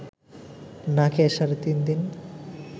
না খেয়ে সাড়ে তিন দিন